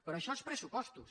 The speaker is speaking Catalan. però això són pressupostos